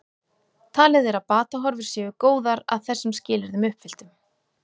Talið er að batahorfur séu góðar að þessum skilyrðum uppfylltum.